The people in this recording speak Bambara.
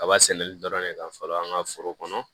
Kaba sɛnɛli dɔrɔn ne ka fara an ka foro kɔnɔ